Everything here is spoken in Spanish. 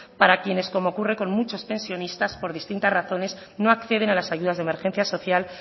para quienes como ocurre con muchos pensionistas por distintas razones no acceden a las ayudas de emergencia social